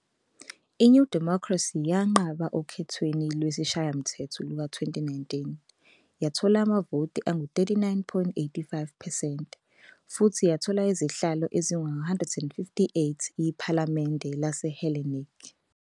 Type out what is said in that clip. I-New Democracy yanqoba okhethweni lwesishayamthetho luka-2019, yathola amavoti angu-39.85 percent futhi yathola izihlalo ezingu-158 IPhalamende laseHellenic